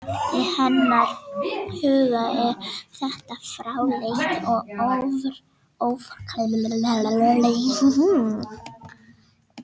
Í hennar huga er þetta fráleit og óframkvæmanleg hugmynd.